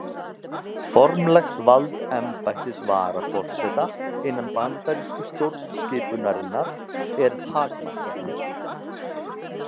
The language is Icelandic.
Formlegt vald embættis varaforseta innan bandarísku stjórnskipunarinnar er takmarkað.